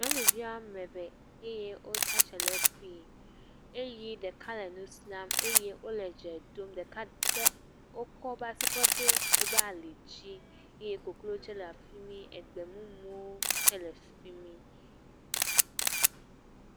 Nyɔnuvi ame eve eye wotsia tsitre ɖe fi eye ɖeka le nu siam eye wo le dze ɖom. Ɖeka de, wokɔ wo ƒe asi kɔ de woƒe ali dzi eye koklo tse le fimi eye egbe mumuwo tse le fimi